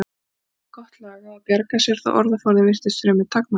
Hún hafði gott lag á að bjarga sér þó að orðaforðinn virtist fremur takmarkaður.